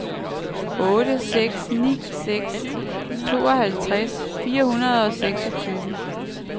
otte seks ni seks tooghalvtreds fire hundrede og seksogtyve